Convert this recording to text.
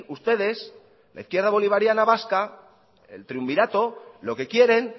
ustedes la izquierda bolivariana vasca el triunvirato lo que quieren